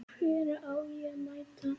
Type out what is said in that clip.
Hvenær á ég að mæta?